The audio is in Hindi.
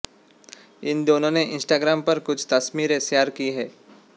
इन दोनों ने इंस्टाग्राम पर कुछ तस्वीरें शेयर की हैं